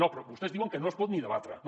no però vostès diuen que no es pot ni debatre no